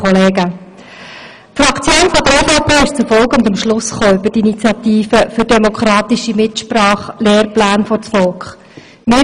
Die Fraktion der EVP ist hinsichtlich der Initiative «Für demokratische Mitsprache – Lehrpläne vors Volk!» zu folgendem Schluss gelangt: